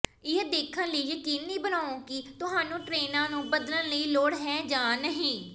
ਇਹ ਦੇਖਣ ਲਈ ਯਕੀਨੀ ਬਣਾਓ ਕਿ ਤੁਹਾਨੂੰ ਟ੍ਰੇਨਾਂ ਨੂੰ ਬਦਲਣ ਦੀ ਲੋੜ ਹੈ ਜਾਂ ਨਹੀਂ